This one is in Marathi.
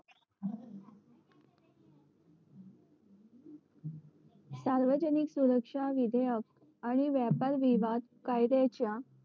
सार्वजिन सुरक्षा विधेयक आणि व्यापार विवादात कायद्याच्या